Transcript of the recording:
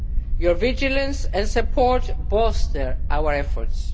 Your vigilance and support bolster our efforts.